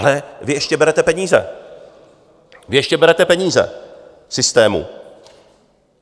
Ale vy ještě berete peníze, vy ještě berete peníze, systému.